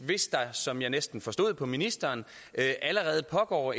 hvis der som jeg næsten forstod på ministeren allerede pågår